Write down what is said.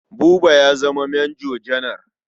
Buba ya zama manjo janar.